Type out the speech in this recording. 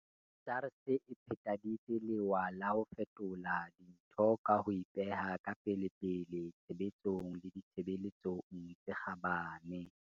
SARS e phethaditse lewa la ho fetola dintho ka ho ipeha ka pelepele tshebetsong le ditshebeletsong tse kgabane.